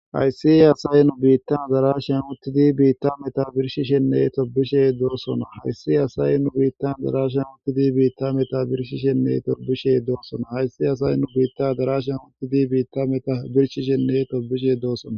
hayssi asay nu biittan zarashem uttidi biitta meta birshishenne tobishey doosona hayssi asay nu biittan darasham uttidi biitta meta birshishenne torbishe doosona hayssi asay nu biitta darashan uttidi biitta meta birshishenne tobishe doossona